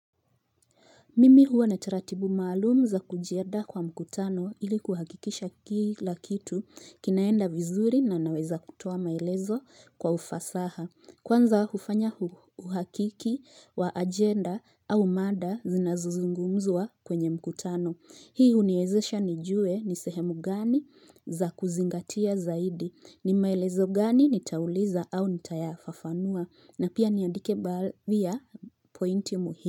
Mimi huwa na taratibu maalum za kujiandaa kwa mkutano ili kuhakikisha kila kitu kinaenda vizuri na naweza kutoa maelezo kwa ufasaha. Kwanza hufanya uhakiki wa agenda au mada zinazozungumzwa kwenye mkutano. Hii uniezesha nijue nisehemu gani za kuzingatia zaidi, nimaelezo gani nitauliza au nitayafafanua na pia niandike baadhi ya pointi muhimu.